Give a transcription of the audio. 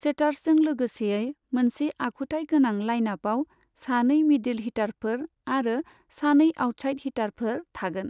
सेटार्सजों लोगोसेयै मोनसे आखुथाय गोनां लाइनआपाव सानै मिडिल हिटारफोर आरो सानै आउटसाइड हिटारफोर थागोन।